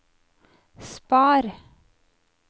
spar